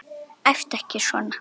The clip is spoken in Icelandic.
Æptu ekki svona!